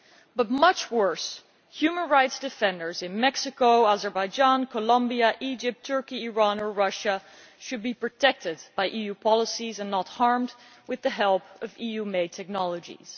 But, much worse, human rights defenders in Mexico, Azerbaijan, Colombia, Egypt, Turkey, Iran or Russia should be protected by EU policies and not harmed with the help of EU made technologies.